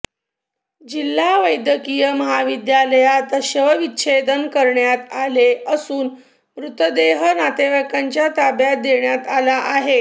जिल्हा वैद्यकिय महाविद्यालयात शवविच्छेदन करण्यात आले असून मृतदेह नातेवाईकांच्या ताब्यात देण्यात आला आहे